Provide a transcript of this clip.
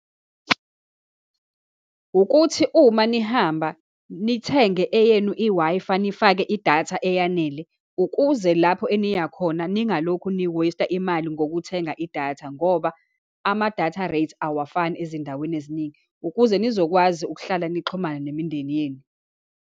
Ukuthi uma nihamba, nithenge eyenu i-Wi-Fi, nifake idatha eyanele, ukuze lapho eniyakhona ningalokhu ni-waste-a imali ngokuthenga idatha, ngoba ama-data rate awafani ezindaweni eziningi, ukuze nizokwazi ukuhlala nixhumana nemindeni yenu.